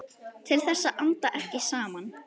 Til þess að anda ekki saman.